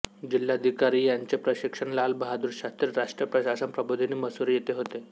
जिल्हाधिकारी यांचे प्रशिक्षण लाल बहादूर शास्त्री राष्ट्रीय प्रशासन प्रबोधिनी मसूरी येथे होते